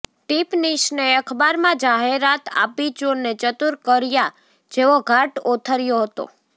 ટીપનીશને અખબારમાં જાહેરાત આપી ચોરને ચતુર કર્યા જેવો ઘાટ ઔથયો હતો